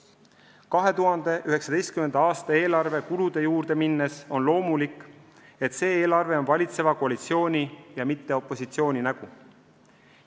Kui 2019. aasta eelarve kulude juurde minna, siis tuleb öelda, et loomulikult on see eelarve valitseva koalitsiooni ja mitte opositsiooni nägu.